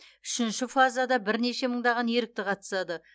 үшінші фазада бірнеше мыңдаған ерікті қатысады